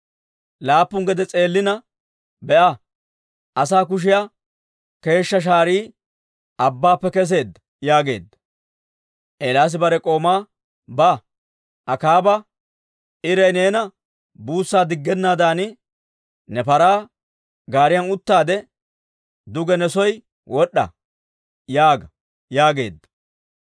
Laappun gede s'eelana, «Be'a, asaa kushiyaa keeshshaa shaarii abbaappe kesseedda» yaageedda. Eelaasi bare k'oomaa, «Ba; Akaaba, ‹Iray neena buussaa diggennaadan, ne paraa gaariyan uttaade, duge ne soo wod'd'a› yaaga» yaageedda.